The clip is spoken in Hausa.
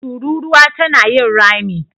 Tururuwa tana yin rami.